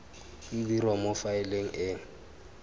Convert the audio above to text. e dirwa mo faeleng e